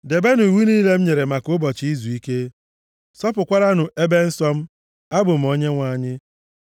“ ‘Debenụ iwu niile m nyere maka ụbọchị izuike m. Sọpụkwaranụ ebe nsọ m. Abụ m Onyenwe anyị.